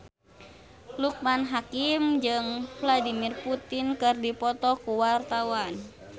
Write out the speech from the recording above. Loekman Hakim jeung Vladimir Putin keur dipoto ku wartawan